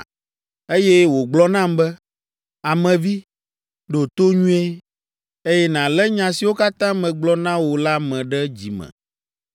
Eye wògblɔ nam be, “Ame vi, ɖo to nyuie, eye nàlé nya siwo katã megblɔ na wò la me ɖe dzi me.